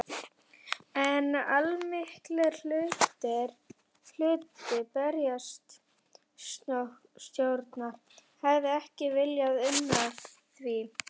En allmikill hluti bæjarstjórnar hefir ekki viljað una því.